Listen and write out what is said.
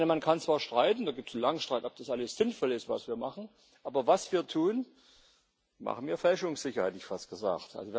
Man kann zwar streiten da gibt es langen Streit ob das alles sinnvoll ist, was wir machen, aber was wir tun, machen wir fälschungssicher, hätte ich fast gesagt.